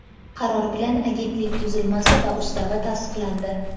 qaror bilan Agentlik tuzilmasi va Ustavi tasdiqlandi.